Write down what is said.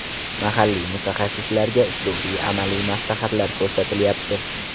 Mahalliy mutaxassislarga uslubiy amaliy maslahatlar ko‘rsatilyapti.